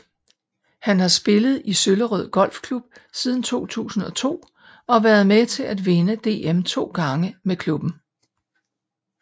Han har spillet i Søllerød Golf Klub side 2002 og været med til at vinde DM 2 gange med klubben